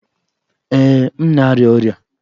Ee, m na-arịa ọrịa